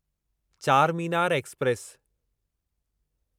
Charminar express